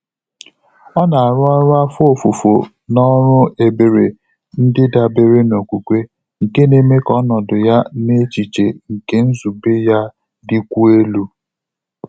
Ọ́ nà-árụ́ ọ́rụ́ áfọ́ ófùfò nà ọ́rụ́ ébèré ndị́ dàbéré nà ókwúkwé, nké nà-émé kà ọ́nọ́dụ̀ yá nà échíché nké nzùbé yá dị́kwùó èlú.